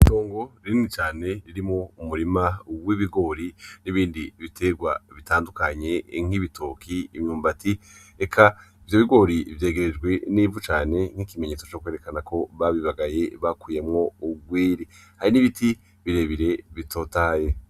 Itongo rinini cane ririmwo umurima w' ibigori n' ibindi bitegwa bitandukanye nk'ibitoki, imyumbati eka ivyo bigori vyegerejwe n' ivu cane nk'ikimenyetso cokwerekana ko babi bagaye bakuyemwo ugwiri, hari n' ibiti bire bire bitotahaye.